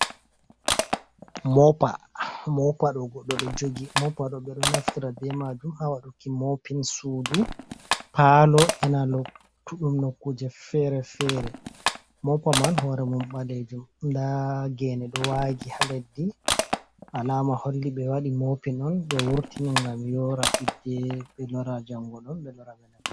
Mopa ɗo goɗɗo ɗo jogi mopa ɗo ɓe ɗo naftara ɓe majum ha waduki moopin sudu palo ena lottuɗum no kuje fere-fere, moppa man hore mum balejum, nda gene ɗo wangi ha leddi alama holli be wadi mopin on be wurtini ngam yora hidde be lora jango ɗon naftira be mai.